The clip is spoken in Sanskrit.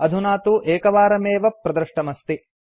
अधुना तु एकवारमेव प्रदृष्टमस्ति